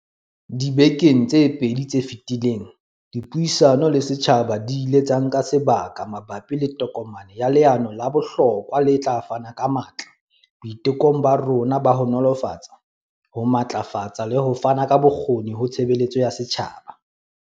Dibekeng tse pedi tse feti leng, dipuisano le setjhaba di ile tsa nka sebaka ma bapi le tokomane ya leano le bohlokwa le tla fana ka matla boitekong ba rona ba ho nolofatsa, ho matlafatsa le ho fana ka bokgoni ho tshebeletso ya setjhaba.